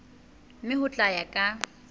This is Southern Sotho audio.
mme ho tla ya ka